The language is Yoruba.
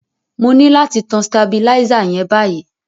Mo ni láti tan stabilizer yen báyíí